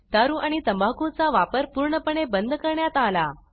दारू आणि तंबाखू चा वापर पूर्णपणे बंद करण्यात आला